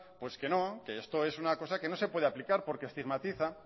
pues que no que esto es una cosa que no se puede aplicar porque estigmatiza